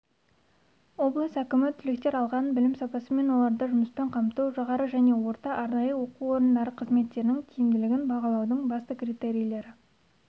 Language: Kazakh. облыс әкімі түлектер алған білім сапасы мен оларды жұмыспен қамту жоғары және орта арнайы оқу орындары қызметтерінің тиімділігін бағалаудың басты критерийлері